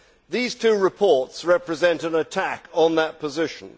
These two reports represent an attack on that position.